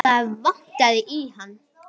Það vantaði í hann.